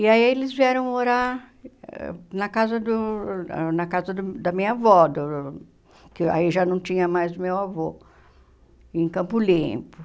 E aí eles vieram morar na casa do ah na casa minha avó do da minha avó, do que aí já não tinha mais meu avô, em Campo Limpo.